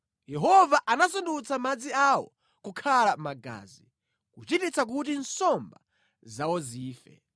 Yehova anasandutsa madzi awo kukhala magazi, kuchititsa kuti nsomba zawo zife.